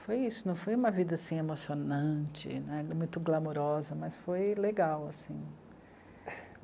Foi isso, não foi uma vida emocionante né, muito glamourosa, mas foi legal assim.